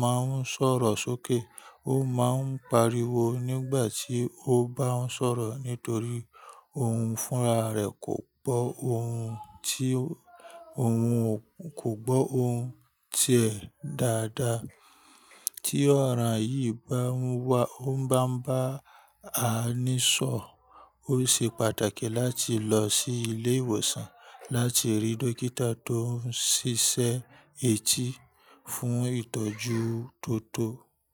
máa ń sọ̀rọ̀ sókè, ó máa ń pariwo nígbà tí ó bá ń sọ̀rọ̀ nítorí ohun fúnra rẹ̀ kò gbọ́ ohun tí, ohun kò gbọ́ ohun tí ẹ dáadáa. Tí ọ̀ràn yìí bá ń wá, ó ń bá ń bá a ní sọ̀, ó ṣe pàtàkì láti lọ sí ilé ìwòsàn láti rí dókítà tó ń ṣiṣẹ́ etí fún ìtọ́jú tó tó.